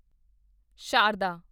Sharda